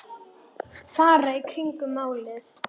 Fara í kringum málið?